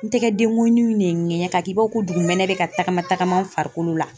N tɛgɛ dengɔnniw ne ye ŋɛɲɛ k'a kɛ i b'a fɔ ko dugu mɛnɛ bɛ ka tagama tagama n farikolo la.